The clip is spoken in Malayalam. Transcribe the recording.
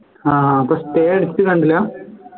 ആഹ് അപ്പോ stay അടിച്ച് കണ്ടില്ല